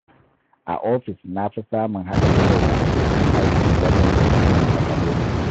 A ofis na fi samun haɗin kai da abokan aiki wajen tattauna matsaloli.